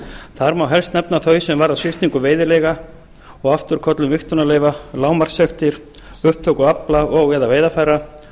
þar má helst nefna þau sem varða sviptingu veiðileyfa og afturköllun vigtunarleyfa lágmarkssektir og upptöku afla og eða veiðarfæra